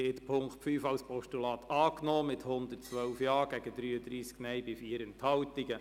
Sie haben die Ziffer 5 als Postulat angenommen mit 112 Ja- gegen 33 Nein-Stimmen bei 4 Enthaltungen.